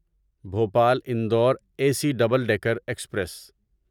Bhopal Indore A C double decker express